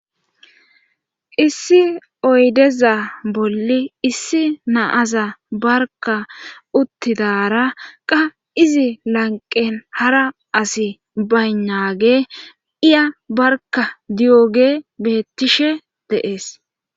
Issi oydeza bolli issi naaza barka uttidara qa izi lanqen hara asi baynage iya barka di7oge beettishe deees